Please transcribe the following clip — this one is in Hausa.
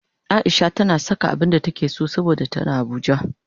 Aisha tana saka abinda take so saboda tana abuja